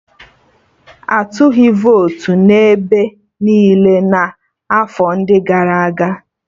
Atụghị votu dị ebe niile n'afọ ndị gara aga